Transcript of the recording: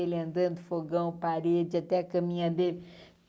andando, fogão, parede, até a caminha dele.